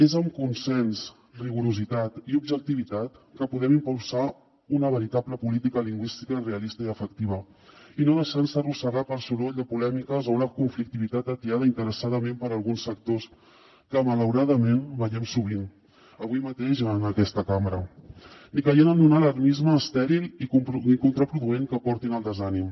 és amb consens rigorositat i objectivitat que podem impulsar una veritable política lingüística realista i efectiva i no deixant se arrossegar pel soroll de polèmiques o una conflictivitat atiada interessadament per alguns sectors que malauradament veiem sovint avui mateix en aquesta cambra ni caient en un alarmisme estèril i contraproduent que porti al desànim